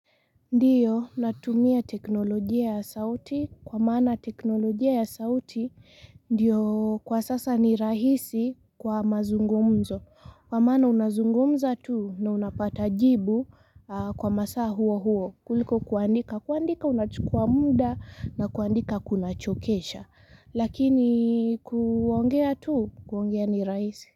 Ndiyo natumia teknolojia ya sauti kwa maana teknolojia ya sauti Ndiyo kwa sasa ni rahisi kwa mazungumzo. Kwa maana unazungumza tu, na unapata jibu, a kwa masaa huo huo. Kuliko kuandika, kuandika unachukua mda na kuandika kunachokesha. Lakini ku ongea tu, kuongea ni rahisi.